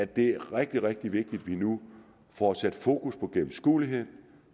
det er rigtig rigtig vigtigt at vi nu får sat fokus på gennemskueligheden